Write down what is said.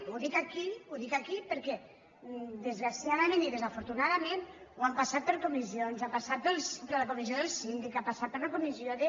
ho dic aquí ho dic aquí perquè desgraciadament i desafortunadament ho han passat per comissions ha passat per la comissió del síndic ha passat per la comissió de